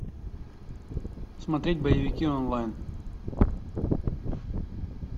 смотреть боевики онлайн